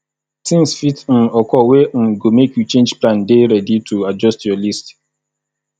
things fit um occur wey um go make you change plan dey ready to adjust your list